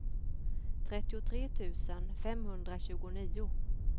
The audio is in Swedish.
trettiotre tusen femhundratjugonio